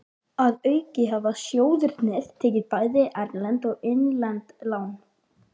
Að auki hafa sjóðirnir tekið bæði erlend og innlend lán.